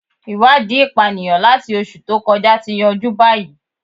Iwadii ipaniyan lati oṣu to kọja ti yanju bayi